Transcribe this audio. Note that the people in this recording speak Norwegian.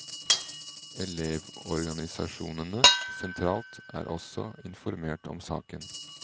Elevorganisasjonene sentralt er også informert om saken.